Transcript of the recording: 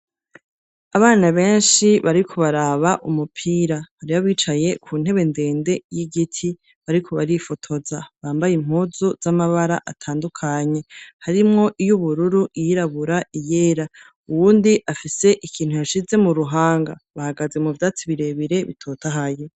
Abana benshi bariko baraba umupira, hariho abicaye ku ntebe ndende y'igiti, bariko barifotoza, bambaye impuzu z'amabara atandukanye; harimwo iy’ubururu, iyirabura, iyera; uwundi afise ikintu yashize mu ruhanga; bahagaze mu vyatsi birebire bitotahaye.